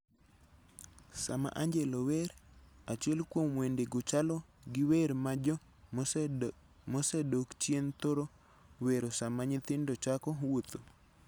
Sama Angelo wer, achiel kuom wendego chalo gi wer ma jo mosedok chien thoro wero sama nyithindo chako wuotho.